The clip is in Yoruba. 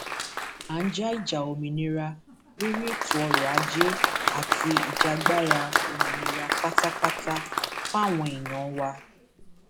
a ń ja ìjà òmìnira lórí ètò ọrọ ajé àti ìjàgbara òmìnira pátápátá fáwọn èèyàn wa